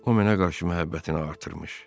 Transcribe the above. O mənə qarşı məhəbbətini artırmış.